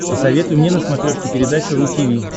посоветуй мне на смотрешке передачу ру ти ви